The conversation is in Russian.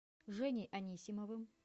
женей анисимовым